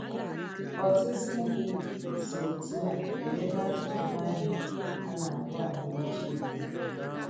Ọtụtụ ndị si otú a ele ele akụkụ Bible a na - akpọ Agba Ochie anya.